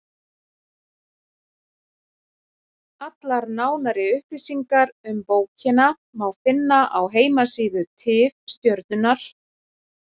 Allar nánari upplýsingar um bókina má finna á heimasíðu Tifstjörnunnar.